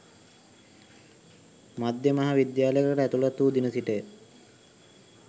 මධ්‍ය මහා විද්‍යාලයකට ඇතුළත් වූ දින සිටය